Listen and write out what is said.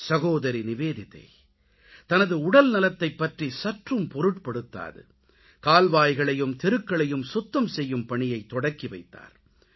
சகோதரி நிவேதிதா தனது உடல்நலத்தைப் பற்றி சற்றும் பொருட்படுத்தாது கால்வாய்களையும் தெருக்களையும் சுத்தம் செய்யும் பணியைத் தொடங்கிவைத்தார்